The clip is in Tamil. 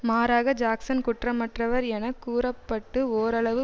மாறாக ஜாக்சன் குற்றமற்றவர் என கூற பட்டு ஓரளவு